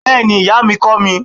Bẹ́ẹ̀ni, Iya mi kọ mi